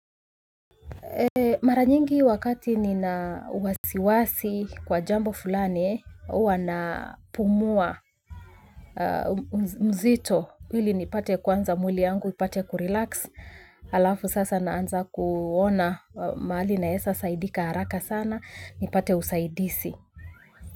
Mara nyingi wakati nina wasiwasi kwa jambo fulani huwa napumua mzito ili nipate kwanza mwili yangu ipate kurelax alafu sasa naanza kuona mahali naezasaidika haraka sana nipate usaidizi.